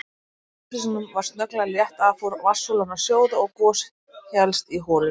Þegar loftþrýstingnum var snögglega létt af fór vatnssúlan að sjóða og gos hélst í holunni.